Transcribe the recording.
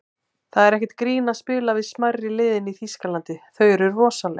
Það er ekkert grín að spila við smærri liðin í Þýskalandi, þau eru rosaleg.